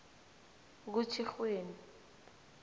kutjhirhweni